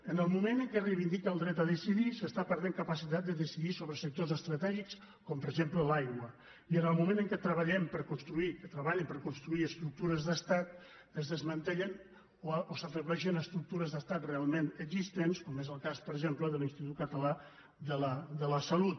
en el moment en què es reivindica el dret a decidir s’està perdent capacitat de decidir sobre sectors estratègics com per exemple l’aigua i en el moment en què treballen per construir estructures d’estat es desmantellen o s’afebleixen estructures d’estat realment existents com és el cas per exemple de l’institut català de la salut